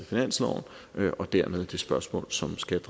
finansloven og dermed er det et spørgsmål som skal